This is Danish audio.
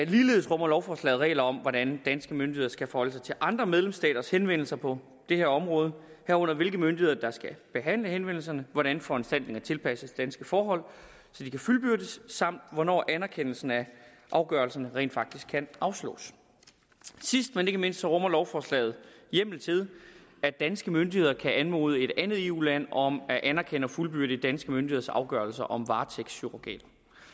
ligeledes rummer lovforslaget regler om hvordan danske myndigheder skal forholde sig til andre medlemsstaters henvendelser på det her område herunder hvilke myndigheder der skal behandle henvendelserne hvordan foranstaltningerne tilpasses danske forhold så de kan fuldbyrdes samt hvornår anerkendelsen af afgørelserne rent faktisk kan afslås sidst men ikke mindst rummer lovforslaget hjemmel til at danske myndigheder kan anmode et andet eu land om at anerkende og fuldbyrde danske myndigheders afgørelser om varetægtsurrogat